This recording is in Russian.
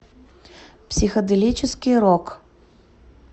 психоделический рок